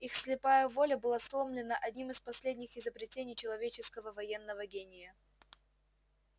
их слепая воля была сломлена одним из последних изобретений человеческого военного гения